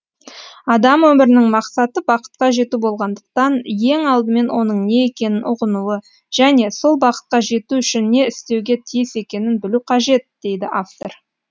адам өмірінің мақсаты бақытқа жету болғандықтан ең алдымен оның не екенін ұғынуы және сол бақытқа жету үшін не істеуге тиіс екенін білуі қажет дейді автор